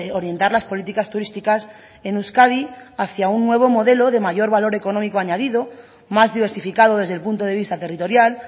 orientar las políticas turísticas en euskadi hacía un nuevo modelo de mayor valor económico añadido más diversificado desde el punto de vista territorial